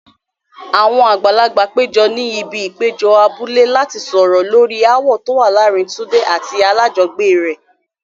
Àwọn àgbàlagbà péjọ ní ibi ìpéjọ abúlé láti sọ̀rọ̀ lórí ááwọ̀ tó wà láàárín Tunde àti alájọgbélé rẹ̀.